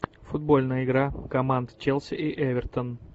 футбольная игра команд челси и эвертон